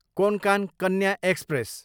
Konkan Kanya express